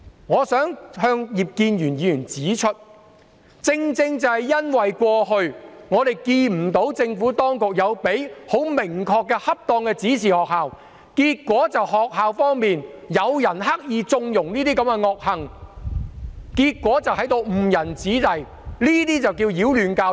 我想向葉建源議員指出，正正因為我們過去看不到政府當局曾向學校提供明確及適當的指示，以致有人在學校刻意縱容這些惡行，結果誤人子弟，這些才是擾亂教育。